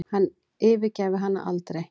Hann yfirgæfi hana aldrei.